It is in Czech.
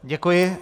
Děkuji.